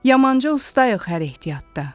Yamanca ustayıq hər ehtiyatda.